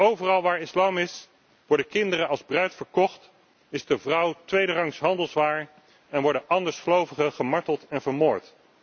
Overal waar islam is, worden kinderen als bruid verkocht, is de vrouw tweederangs handelswaar en worden andersgelovigen gemarteld en vermoord.